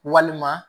Walima